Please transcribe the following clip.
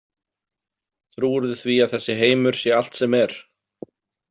Trúirðu því að þessi heimur sé allt sem er?